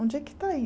Onde é que está aí?